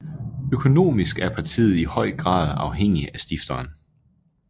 Økonomisk er partiet i høj grad afhængig af stifteren